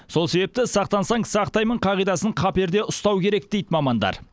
сол себепті сақтансаң сақтаймын қағидасын қаперде ұстау керек дейді мамандар